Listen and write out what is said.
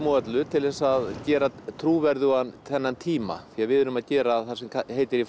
og öllu til að gera trúverðugan þennan tíma því við erum að gera það sem heitir í